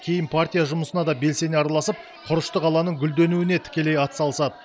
кейін партия жұмысына да белсене араласып құрышты қаланың гүлденуіне тікелей атсалысады